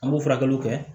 An b'o furakɛliw kɛ